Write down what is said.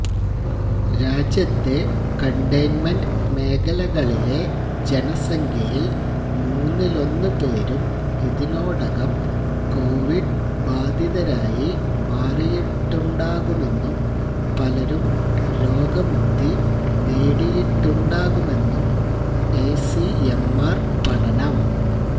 രാജ്യത്തെ കണ്ടെയ്ൻമെന്റ് മേഖലകളിലെ ജനസംഖ്യയിൽ മൂന്നിലൊന്ന് പേരും ഇതിനോടകം കൊവിഡ് ബാധിതരായി മാറിയിട്ടുണ്ടാകുമെന്നും പലരും രോഗമുക്തി നേടിയിട്ടുണ്ടാകുമെന്നും ഐസിഎംആർ പഠനം